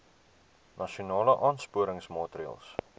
nasionale aansporingsmaatre ls